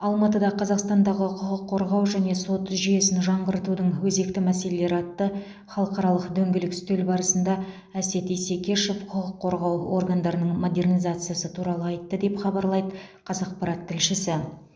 алматыда қазақстандағы құқық қорғау және сот жүйесін жаңғыртудың өзекті мәселелері атты халықаралық дөңгелек үстел барысында әсет исекешов құқық қорғау органдарының модернизациясы туралы айтты деп хабарлайды қазақпарат тілшісі